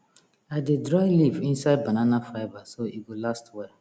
i dey dry leaf inside banana fibre so e go last well